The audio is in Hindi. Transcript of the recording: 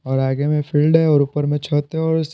और आगे में फील्ड है और ऊपर में छत है और --